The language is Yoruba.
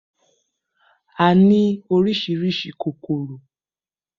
A ní oríṣiríṣi kòkòrò